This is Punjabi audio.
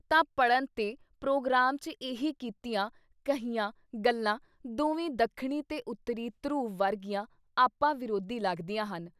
ਤਾਂ ਪੜ੍ਹਨ ਤੇ ਪ੍ਰੋਗਰਾਮ 'ਚ ਇਹ ਕੀਤੀਆਂ, ਕਹੀਆਂ ਗੱਲਾਂ ਦੋਵੇਂ ਦੱਖਣੀ ਤੇ ਉੱਤਰੀ ਧਰੁਵ ਵਰਗੀਆਂ ਆਪਾ ਵਿਰੋਧੀ ਲੱਗਦੀਆਂ ਹਨ।